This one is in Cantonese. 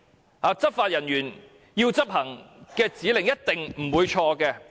內地執法人員要市民執行的指令是否一定不會錯？